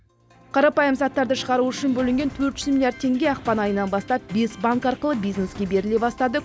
қарапайым заттарды шығару үшін бөлінген төрт жүз миллиард теңге ақпан айынан бастап бес банк арқылы бизнеске беріле бастады